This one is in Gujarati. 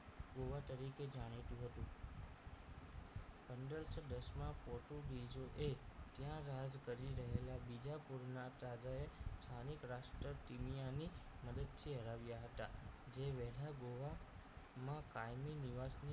પંદરસો દસ માં પોર્ટુગીઝો એ ત્યાં રાજ કરી રહેલા બીજા કુળના રાજાએ સ્થાનિક રાષ્ટ્ર તીનિયાની મદદથી હરાવ્યા હતા જે વહેલા ગોવામાં કાયમી નિવાસ ની